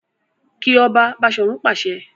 Ki ọba! Bashorun pàṣẹ.